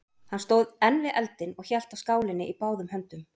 Hann stóð enn við eldinn og hélt á skálinni í báðum höndum.